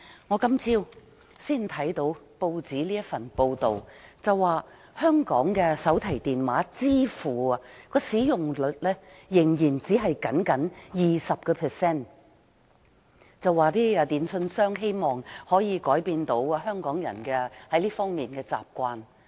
我今天早上看到報章報道，說香港的手提電話支付使用率仍然只有 20%， 電訊商希望可以改變香港人在這方面的習慣。